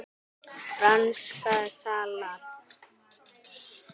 Franskt salat